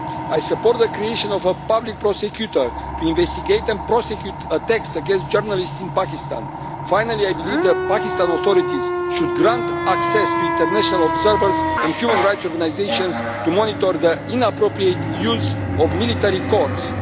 I support the creation of a public prosecutor to investigate and prosecute attacks against journalists in Pakistan. Finally, I believe the Pakistan authorities should grant access to international observers and human rights organisations to monitor their inappropriate use of military courts.